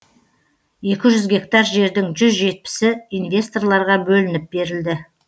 екі жүз гектар жердің жүз жетпісі инвесторларға бөлініп берілді